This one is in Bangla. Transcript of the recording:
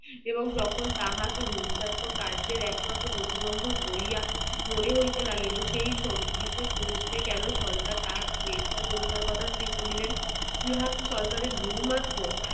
এবং যখন তাহাকে হিংসাত্মক কার্যের এক রকম প্রতি বন্ধক বলিয়া মনে হইতে লাগিল সেই সন্ধির মুহূর্তে কোনো সরকার তাহাকে গ্রেফতার করিবার কথা স্থির করিলেন ইহা কি সরকারের ভুল মাত্র